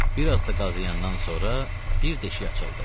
Bir az da qazıyandan sonra bir deşik açıldı.